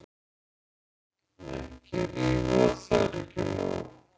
"""Ekki rífa, það er ekki nóg."""